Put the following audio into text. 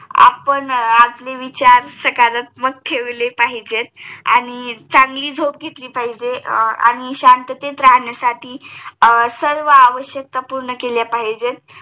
आपण आपले विचार सकारात्मक ठेवले पाहीजे आणि चांगली झोप घेतली पाहिजे आणि शांततेत राहण्यासाठी सर्व आवश्यकता पूर्ण केल्या पाहिजे